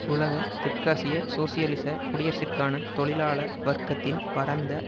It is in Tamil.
உலக தெற்காசிய சோசியலிச குடியரசிற்கான தொழிலாள வர்க்கத்தின் பரந்த